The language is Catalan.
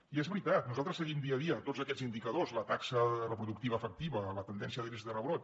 i és veritat nosaltres seguim dia a dia tots aquests indicadors la taxa reproductiva efectiva la tendència de l’índex de rebrot